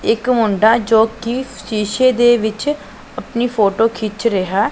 ਇੱਕ ਮੁੰਡਾ ਜੋਕੀ ਸ਼ੀਸ਼ੇ ਦੇ ਵਿੱਚ ਅਪਨੀ ਫ਼ੋਟੋ ਖਿੰਚ ਰਿਹਾ।